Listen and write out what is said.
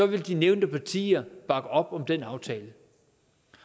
vil de nævnte partier bakke op om den aftale